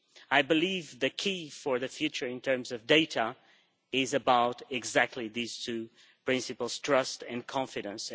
I believe the key for the future in terms of data is about exactly these two principles trust and confidence.